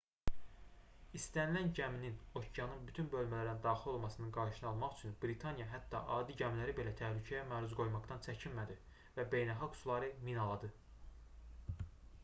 i̇stənilən gəminin okeanın bütün bölmələrinə daxil olmasının qarşısını almaq üçün britaniya hətta adi gəmiləri belə təhlükəyə məruz qoymaqdan çəkinmədi və beynəlxalq suları minaladı